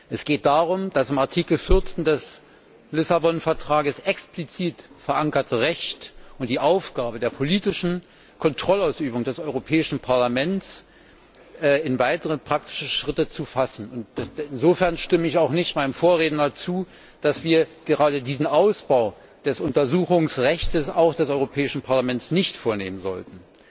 Es geht darum, das in Artikel 14 des Vertrags von Lissabon explizit verankerte Recht und die Aufgabe der politischen Kontrollausübung des Europäischen Parlaments in weitere praktische Schritte zu fassen. Insofern stimme ich auch nicht meinem Vorredner zu, dass wir gerade diesen Ausbau des Untersuchungsrechtes, auch des Europäischen Parlaments, nicht vornehmen sollten.